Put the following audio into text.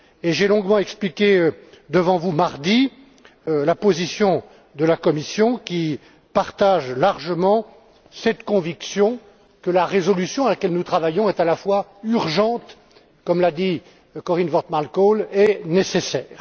J'ai longuement expliqué devant vous mardi la position de la Commission, qui partage largement cette conviction que la résolution à laquelle nous travaillons est à la fois urgente, comme l'a dit Corien Wortman Kool, et nécessaire.